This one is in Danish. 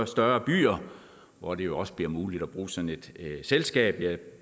større byer hvor det jo også bliver muligt at bruge sådan et selskab jeg